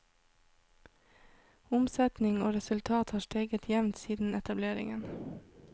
Omsetning og resultat har steget jevnt siden etableringen.